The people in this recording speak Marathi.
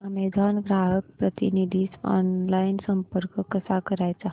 अॅमेझॉन ग्राहक प्रतिनिधीस ऑनलाइन संपर्क कसा करायचा